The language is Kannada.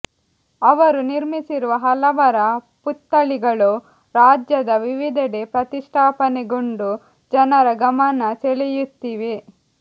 ಅವರು ನಿರ್ಮಿಸಿರುವ ಹಲವರ ಪುತ್ಥಳಿಗಳು ರಾಜ್ಯದ ವಿವಿಧೆಡೆ ಪ್ರತಿಷ್ಠಾಪನೆಗೊಂಡು ಜನರ ಗಮನ ಸೆಳೆಯುತ್ತಿವೆ